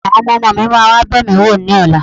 Àwọn ọmọ-ọmọ mi máa wá bẹ̀ mí wò lọ́la